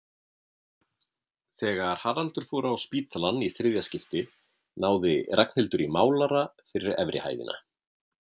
Þegar Haraldur fór á spítalann í þriðja skipti náði Ragnhildur í málara fyrir efri hæðina.